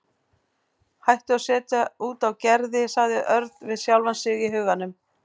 Hættu að setja út á Gerði sagði Örn við sjálfan sig í huganum.